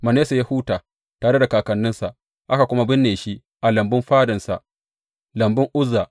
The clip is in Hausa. Manasse ya huta tare da kakanninsa, aka kuma binne shi a lambun fadansa, lambun Uzza.